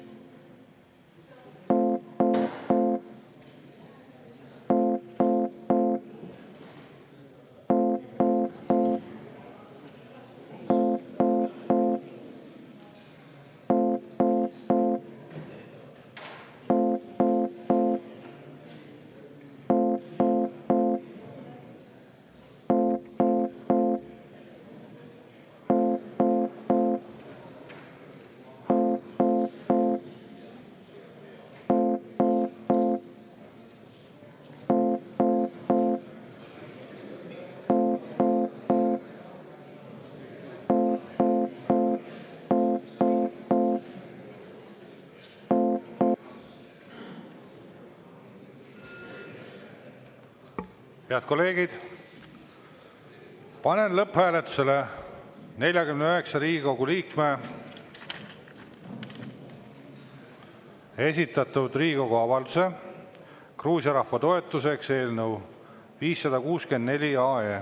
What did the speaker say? Head kolleegid, panen lõpphääletusele 49 Riigikogu liikme esitatud Riigikogu avalduse "Gruusia rahva toetuseks" eelnõu 564.